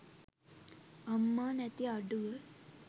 අම්මා නැති අඩුව.